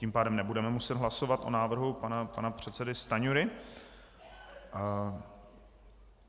Tím pádem nebudeme muset hlasovat o návrhu pana předsedy Stanjury.